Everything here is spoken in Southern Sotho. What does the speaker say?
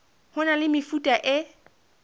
ho na le mefuta e